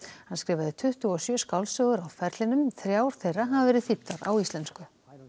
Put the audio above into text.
hann skrifaði tuttugu og sjö skáldsögur á ferlinum þrjár þeirra hafa verið þýddar á íslensku